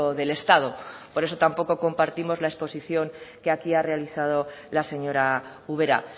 del estado por eso tampoco compartimos la exposición que aquí ha realizado la señora ubera